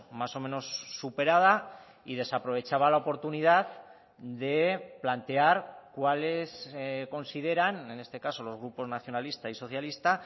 más o menos superada y desaprovechaba la oportunidad de plantear cuales consideran en este caso los grupos nacionalista y socialista